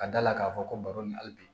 Ka da la k'a fɔ ko baro nin hali bi